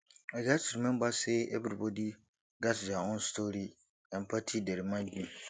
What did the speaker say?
i gats remember say everybody gats their own story empathy dey remind me